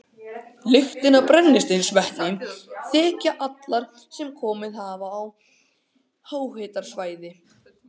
Lyktina af brennisteinsvetni þekkja allir sem komið hafa á háhitasvæði.